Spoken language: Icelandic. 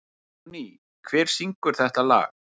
Júní, hver syngur þetta lag?